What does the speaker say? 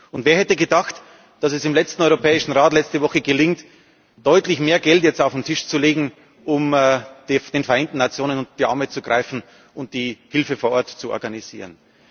Und wer hätte gedacht, dass es im Europäischen Rat letzte Woche gelingt, deutlich mehr Geld auf den Tisch zu legen, um den Vereinten Nationen unter die Arme zu greifen und die Hilfe vor Ort zu organisieren?